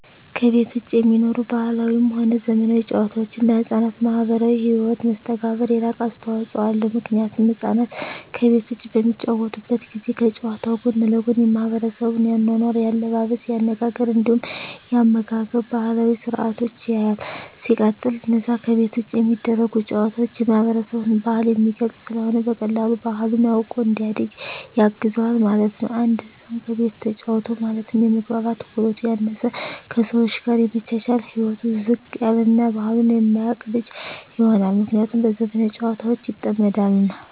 ከቤት ዉጪ የሚኖሩ ባህላዊም ሆነ ዘመናዊ ጨዋታወች ለሕፃናት ማህበራዊ ህይወት መስተጋብር የላቀ አስተዋጾ አለዉ ምክንያቱም ህፃናት ከቤት ዉጪ በሚጫወቱበት ጊዜ ከጨዋታዉ ጎን ለጎን የማሕበረሰቡን የአኗኗር፣ የአለባበስ፤ የአነጋገር እንዲሁም የአመጋገብ ባህላዊ ስርአቶችን ያያል። ሲቀጥል አነዛ ከቤት ዉጪ የሚደረጉ ጨዋታወች የማህበረሰብን ባህል የሚገልጽ ስለሆነ በቀላሉ ባህሉን አዉቆ እንዲያድግ ያግዘዋል ማለት ነዉ። አንድ ህፃን ከቤቱ ተጫወተ ማለት የመግባባት ክህሎቱ ያነሰ፣ ከሰወች ጋር የመቻቻል ህይወቱ ዝቅ ያለ እና ባህሉን የማያቅ ልጅ ይሆናል። ምክንያቱም በዘመናዊ ጨዋታወች ይጠመዳልና።